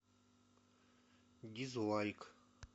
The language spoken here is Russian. дизлайк